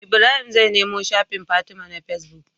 Ibrahim zai nemo shafin fatima na face book